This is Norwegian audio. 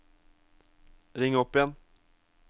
ring opp igjen